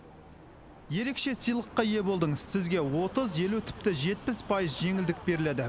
ерекше сыйлыққа ие болдыңыз сізге отыз елу тіпті жетпіс пайыз жеңілдік беріледі